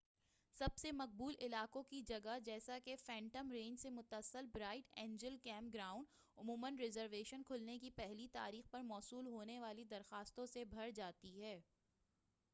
سب سے مقبول علاقوں کی جگہ جیسا کہ فینٹم رینچ سے متصل برائٹ اینجل کیمپ گراؤنڈ عموماً رزرویشن کھلنے کی پہلی تاریخ پر موصول ہونے والی درخواستوں سے بھر جاتی ہے